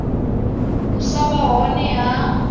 u sa vha hone ha